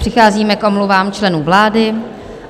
Přicházíme k omluvám členů vlády.